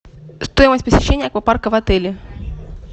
стоимость посещения аквапарка в отеле